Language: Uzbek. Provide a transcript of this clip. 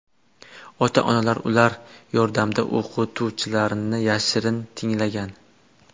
Ota-onalar ular yordamida o‘qituvchilarni yashirin tinglagan.